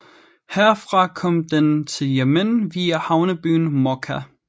Herfra kom den til Yemen via havnebyen Mokka